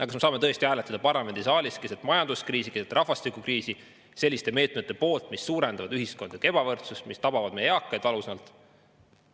Kas me tõesti saame parlamendisaalis keset majanduskriisi ja keset rahvastikukriisi hääletada selliste meetmete poolt, mis suurendavad ühiskondlikku ebavõrdsust ja tabavad valusalt meie eakaid?